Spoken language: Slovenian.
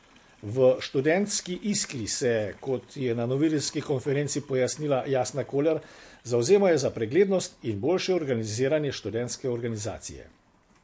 V študentski Iskri se, kot je na novinarski konferenci pojasnila Jasna Koler, zavzemajo za preglednost in boljše organiziranje študentske organizacije.